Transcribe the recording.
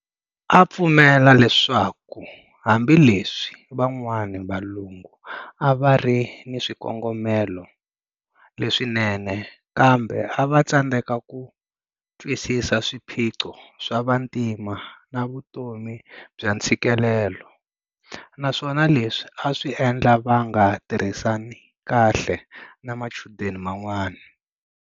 A a pfumela leswaku hambileswi van'wana vavalungu avarina swikongomelo leswinene, kambe a va tsandzeka ku twisisa swiphiqo swa vantima na vutomi bya ntshikelelo, naswona leswi aswi endla va nga tirhisani kahle na machudeni man'wana.